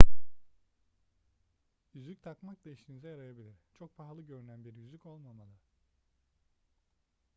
yüzük takmak da işinize yarayabilir çok pahalı görünen bir yüzük olmamalı